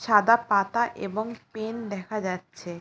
সাদা পাতা এবং পেন দেখা যাচ্ছে।